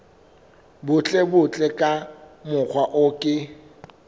butlebutle ka mokgwa o ke